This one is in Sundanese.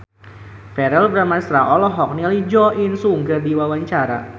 Verrell Bramastra olohok ningali Jo In Sung keur diwawancara